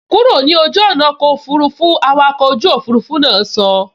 Kúrò ní ojú ọ̀nà ọkọ̀ òfurufú, awakọ̀ ojú òfurufú náà sọ